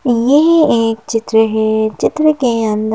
यह एक चित्र है चित्र के अंदर--